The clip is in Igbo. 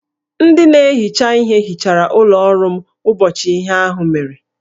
Ndị na-ehicha ihe hichara ụlọ ọrụ m ụbọchị ihe ahụ mere